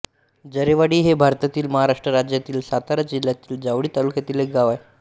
जरेवाडी हे भारतातील महाराष्ट्र राज्यातील सातारा जिल्ह्यातील जावळी तालुक्यातील एक गाव आहे